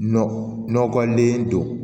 Nɔkɔlen don